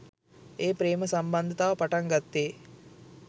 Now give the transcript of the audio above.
ඒ ප්‍රේම සම්බන්ධතාව පටන් ගත්තේ